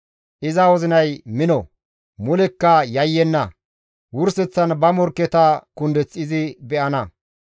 Iza wozinay mino; mulekka yayyenna; wurseththan ba morkketa kundeth izi be7ana.